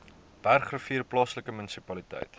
bergrivier plaaslike munisipaliteit